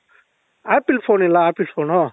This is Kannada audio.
apple phone ಇಲ್ಲ apple phoneನು